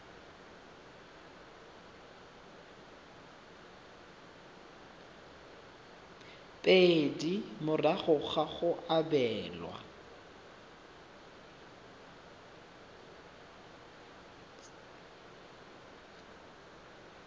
pedi morago ga go abelwa